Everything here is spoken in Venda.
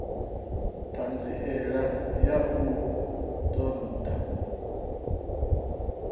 ṱhanziela ya u ṱun ḓa